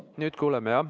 Nüüd kuuleme, jah.